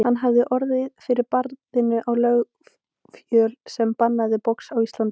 Hann hafði orðið fyrir barðinu á löggjöf sem bannaði box á Íslandi.